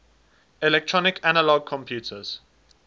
electronic analog computers